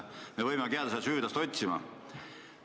Me võimegi jääda seda süüdlast otsima.